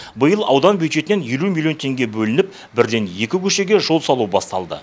биыл аудан бюджетінен елу миллион теңге бөлініп бірден екі көшеге жол салу басталды